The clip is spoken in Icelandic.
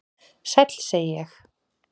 """Sæll, segi ég."""